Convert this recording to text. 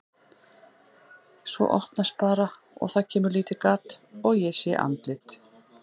Svo opnast bara og það kemur lítið gat og ég sé andlit.